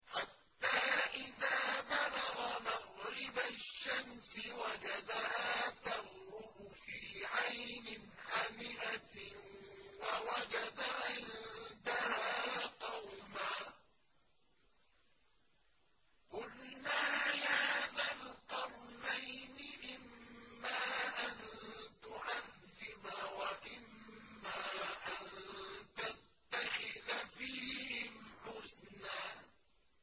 حَتَّىٰ إِذَا بَلَغَ مَغْرِبَ الشَّمْسِ وَجَدَهَا تَغْرُبُ فِي عَيْنٍ حَمِئَةٍ وَوَجَدَ عِندَهَا قَوْمًا ۗ قُلْنَا يَا ذَا الْقَرْنَيْنِ إِمَّا أَن تُعَذِّبَ وَإِمَّا أَن تَتَّخِذَ فِيهِمْ حُسْنًا